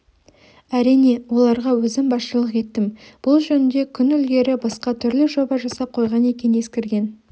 әрине оларға өзім басшылық еттім бұл жөнінде күн ілгері басқа түрлі жоба жасап қойған екен ескірген